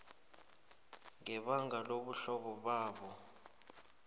ngebanga lobuhlobo babo